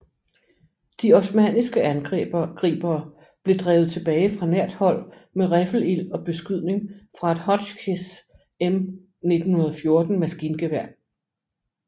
De osmanniske angribere blev drevet tilbage fra nært hold med riffelild og beskydning fra et Hotchkiss M1914 maskingevær